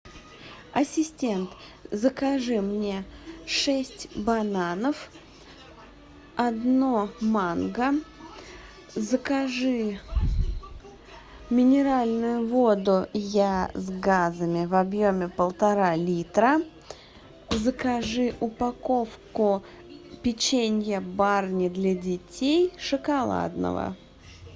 ассистент закажи мне шесть бананов одно манго закажи минеральную воду я с газами в объеме полтора литра закажи упаковку печенья барни для детей шоколадного